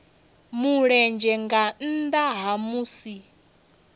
mulenzhe nga nnda ha musi